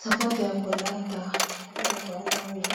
Sapato ya kolata oyo